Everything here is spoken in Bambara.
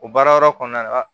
O baara yɔrɔ kɔnɔna la